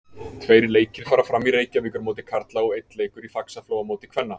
Tveir leikir fara fram í Reykjavíkurmóti karla og einn leikur í Faxaflóamóti kvenna.